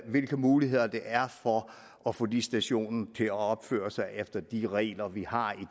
hvilke muligheder der er for at få de stationer til at opføre sig efter de regler vi har i